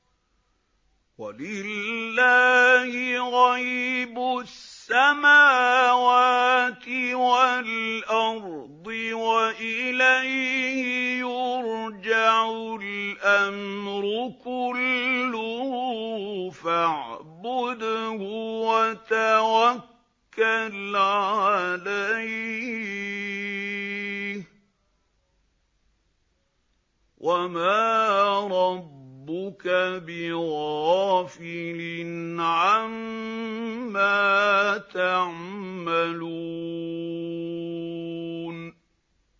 وَلِلَّهِ غَيْبُ السَّمَاوَاتِ وَالْأَرْضِ وَإِلَيْهِ يُرْجَعُ الْأَمْرُ كُلُّهُ فَاعْبُدْهُ وَتَوَكَّلْ عَلَيْهِ ۚ وَمَا رَبُّكَ بِغَافِلٍ عَمَّا تَعْمَلُونَ